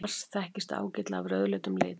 mars þekkist ágætlega af rauðleitum lit